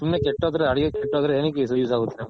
ಸುಮ್ನೆ ಕೀಟೋದ್ರೆ ಅಡುಗೆ ಕೀಟೋದ್ರೆ ಎನ್ನಿಕ್ use ಆಗುತ್ತೆ .